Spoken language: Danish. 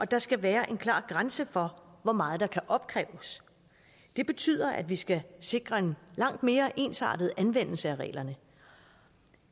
der skal være en klar grænse for hvor meget der kan opkræves det betyder at vi skal sikre en langt mere ensartet anvendelse af reglerne